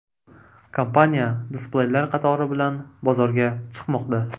Kompaniya displeylar qatori bilan bozorga chiqmoqda.